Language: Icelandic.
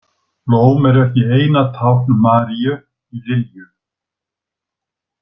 Blóm eru ekki eina tákn Maríu í Lilju.